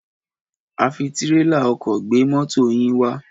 A fi tírélà ọkọ̀ gbé mọ́to yín wá.